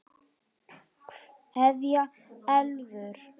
Kveðja Elfur.